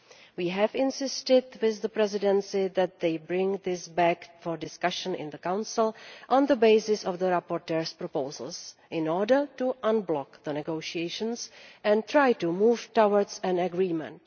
We have insisted that the Presidency bring this back for discussion in the Council on the basis of the rapporteur's proposals in order to unblock the negotiations and try to move towards an agreement.